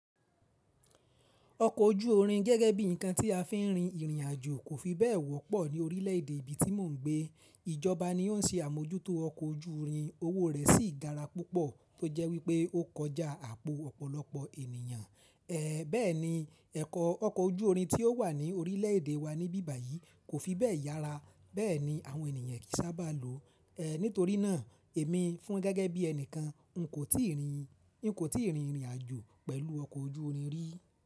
Ọkọ̀ ojú orin gẹ́gẹ́ bí ǹkan tí a fi ń rin ìrìn àjò kò fi bẹ́ẹ̀ wọ́pọ̀ ní orílè èdè ibi tí mò ń gbé. Ijọba ni ó ń ṣe àmójútó ọkọ̀ ojú irin, owó rẹ̀ sì gara púpọ̀ tó jẹ́ wípé ó kọjá àpò ọ̀pọ̀lọpọ̀ ènìyàn. Bẹ́ẹ̀ni, ẹ̀kọ̀ ọkọ̀ ojú orin tí ó wà ní orílèèdè wa ní bíbàyí kò fi bẹ́ẹ̀ yára, bẹ́ẹ̀ ni àwọn ènìyàn kìí sábà lò ó. Nítorínà, èmi fún gẹ́gẹ́ bí ẹnìkan n kò tíì rin, n kò tíì rin ìrìn àjò pẹ̀lú ọkọ̀ ojú orin rí.